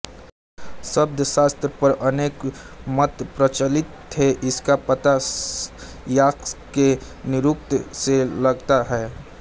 शब्दशास्त्र पर अनेक मत प्रचलित थे इसका पता यास्क के निरूक्त से लगता है